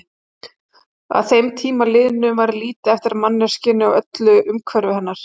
Að þeim tíma liðnum væri lítið eftir af manneskjunni og öllu umhverfi hennar.